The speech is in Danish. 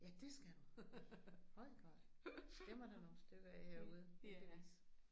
Ja det skal du! Hold da op. Dem er der nogle stykker af herude. Heldigvis